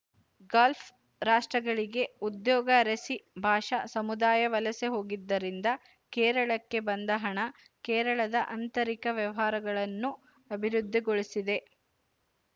Gulf ರಾಷ್ಟ್ರಗಳಿಗೆ ಉದ್ಯೋಗ ಅರಸಿ ಭಾಷಾ ಸಮುದಾಯ ವಲಸೆ ಹೋಗಿದ್ದರಿಂದ ಕೇರಳಕ್ಕೆ ಬಂದ ಹಣ ಕೇರಳದ ಆಂತರಿಕ ವ್ಯವಹಾರಗಳನ್ನು ಅಭಿವೃದ್ಧಿಗೊಳಿಸಿದೆ